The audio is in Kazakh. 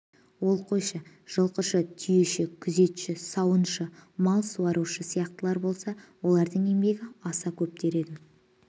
ол қойшы жылқышы түйеші күзетші сауыншы мал суарушы сияқтылар болса олардың еңбегі аса көп дер едім